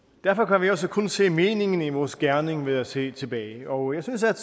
derfor kan vi også kun se meningen i vores gerning ved at se tilbage og jeg synes at